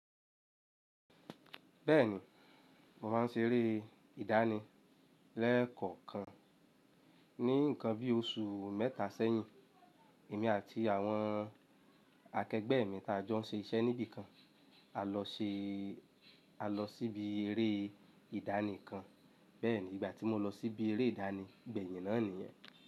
Bẹ́ẹ̀ni, mo máa ń ṣeré ìdánì lẹ́ẹ̀kọ̀okan. Ní nǹkan bí oṣù mẹ́ta sẹ́yìn, èmi àti àwọn akẹgbẹ́ mi tá jọ ń ṣe iṣẹ́ níbìkan, a lọ sí ibi eré ìdánì kan. Bẹ́ẹ̀ni, ìgbà tí mo lọ sí ibi eré ìdánì gbẹ̀yin náà nìyẹn.